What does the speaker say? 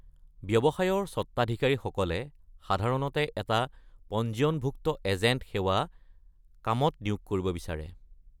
ব্যৱসায়ৰ স্বত্বাধিকাৰীসকলে সাধাৰণতে এটা পঞ্জীয়নভুক্ত এজেণ্ট সেৱা কামত নিয়োগ কৰিব বিচাৰে।